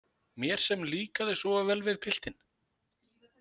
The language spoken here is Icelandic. Mér sem líkaði svo vel við piltinn.